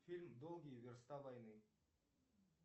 фильм долгие верста войны